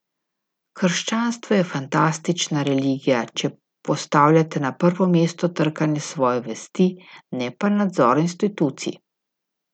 Krščanstvo je fantastična religija, če postavljate na prvo mesto trkanje svoje vesti, ne pa nadzor institucij.